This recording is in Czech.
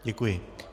Děkuji.